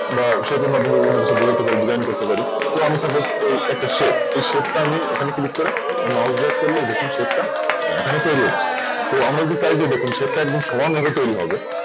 বা সেই জন্য অত কিছু বোঝাতে পারিনি Join করতে পারিনি তো আমি Suppose একটা Shape shape তা আমি Mouse drag করলে দেখুন Shape টা এখানে তৈরি হচ্ছে। তো আমরা চাইছি কি দেখুন Shape তা একদম সমানভাবে তৈরি হবে